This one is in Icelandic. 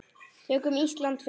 Tökum Ísland fyrst.